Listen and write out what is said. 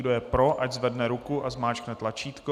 Kdo je pro, ať zvedne ruku a zmáčkne tlačítko.